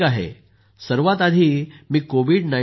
सर्वात आधी मी कोविड19 वर